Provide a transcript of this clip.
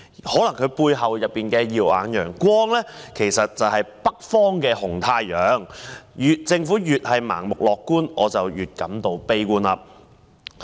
也許他背後的"耀眼陽光"是北方的紅太陽，但政府越是盲目樂觀，我便越是悲觀。